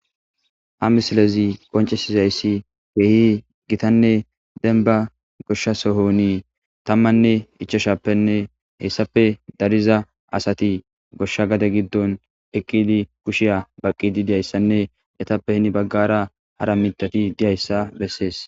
a misilezi qoncesizayssi beehi gitanne denba goshsha sohonii tammanne ichoshappenne hessape dariza asati goshsha gade giddon eqqidi kushiya baqqi didiyayssanne etappehini baggara hara mitati diyayssa bessees